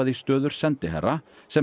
í stöður sendiherra sem